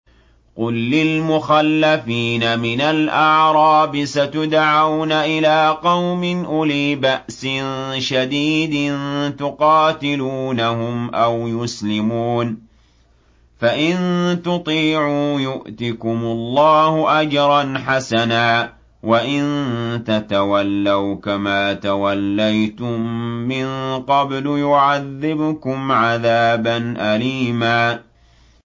قُل لِّلْمُخَلَّفِينَ مِنَ الْأَعْرَابِ سَتُدْعَوْنَ إِلَىٰ قَوْمٍ أُولِي بَأْسٍ شَدِيدٍ تُقَاتِلُونَهُمْ أَوْ يُسْلِمُونَ ۖ فَإِن تُطِيعُوا يُؤْتِكُمُ اللَّهُ أَجْرًا حَسَنًا ۖ وَإِن تَتَوَلَّوْا كَمَا تَوَلَّيْتُم مِّن قَبْلُ يُعَذِّبْكُمْ عَذَابًا أَلِيمًا